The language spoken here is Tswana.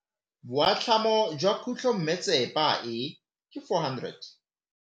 Boatlhamô jwa khutlonnetsepa e, ke 400.